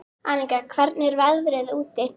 Aníka, hvernig er veðrið úti?